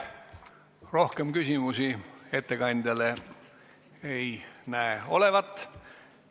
Rohkem küsimusi ettekandjale ei näi olevat.